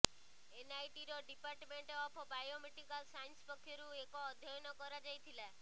ଏନଆଇଟିର department of biomedical science ପକ୍ଷରୁ ଏକ ଅଧ୍ୟୟନ କରାଯାଇଥିଲା